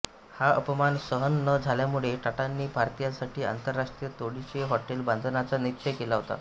हा अपमान सहन न झाल्यामुळे टाटांनी भारतीयांसाठी आंतरराष्ट्रीय तोडीचे हॉटेल बांधण्याचा निश्चय केला होता